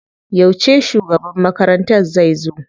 Yauce shugaban makarantar zai zo?